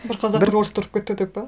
бір қазақ бір орысты ұрып кетті деп пе